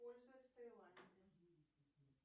используют в тайланде